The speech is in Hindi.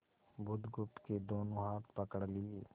बुधगुप्त के दोनों हाथ पकड़ लिए